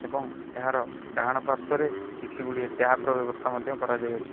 ଏବଂ ଏହାର ଡାହାଣ ପାର୍ଶ୍ଵରେ କିଛି ଗୁଡ଼ିଏ ଟ୍ୟାପ୍ ର ବ୍ୟବସ୍ଥା ମଧ୍ୟ କରାଯାଇଅଛି।